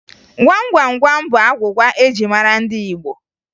Gwam Gwam Gwam bụ agwụgwa eji mara ndị Igbo